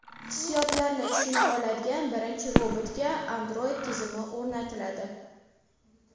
Hissiyotlarni tushuna oladigan birinchi robotga Android tizimi o‘rnatiladi.